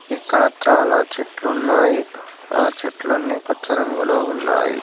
ఇక్కడ చాలా చెట్లు ఉన్నాయి ఆ చెట్లన్నీ పచ్చ రంగులో ఉన్నాయి.